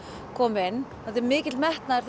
komu inn og mikill metnaður